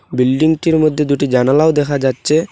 বিল্ডিংটির মধ্যে দুটি জানালাও দেখা যাচ্ছে।